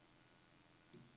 Vuggestuen Ærtebjerg